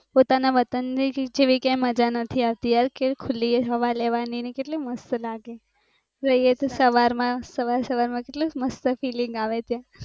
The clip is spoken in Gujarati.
પોતાના વતન જેવી મજા આવતી નથી આવતી યાર કેવી ખુલી હવા લેવાની કેટલી મસ્ત લાગે સવારમાં સવાર સવારમાં કેટલું મસ્ત feeling